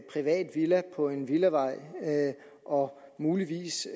privat villa på en villavej og muligvis